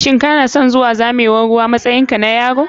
Shin kanason zuwa zamewan ruwa ko harɓe harɓen ruwa a matsayin ka na yaro?